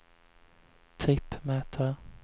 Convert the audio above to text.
trippmätare